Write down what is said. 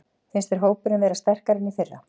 Finnst þér hópurinn vera sterkari en í fyrra?